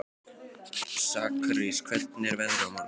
Sakarías, hvernig er veðrið á morgun?